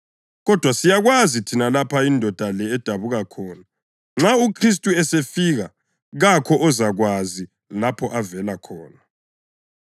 Kodwa siyakwazi thina lapha indoda le edabuka khona; nxa uKhristu esefika, kakho ozakwazi lapho avela khona.”